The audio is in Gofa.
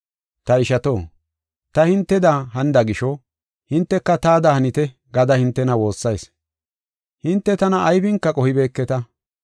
Ta ishato, ta hinteda hanida gisho, hinteka taada hanite gada hintena woossayis. Hinte tana aybinka qohibeeketa.